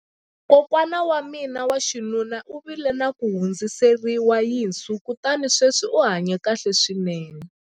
kokwana wa mina wa xinuna u vile na ku hundziseriwa yinsu kutani sweswi u hanye kahle swinene